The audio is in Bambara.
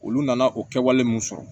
Olu nana o kɛwale min sɔrɔ